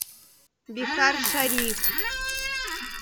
бихаршариф